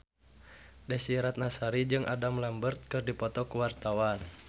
Desy Ratnasari jeung Adam Lambert keur dipoto ku wartawan